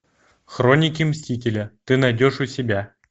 хроники мстителя ты найдешь у себя